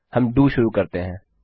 हम डीओ शुरू करते हैं